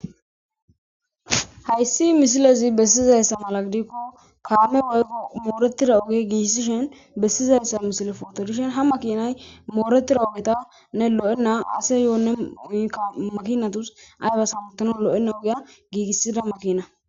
Haysi misilezi bessizaysa mala gidiko kaamey mooretida oge gigisizaysa gidishin besizaysa mala photo gidishin makinay mooretida ogeta makinas aybas hamutanaw gigibeyna ogeta loythiza